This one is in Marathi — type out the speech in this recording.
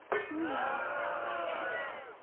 हम्म हम्म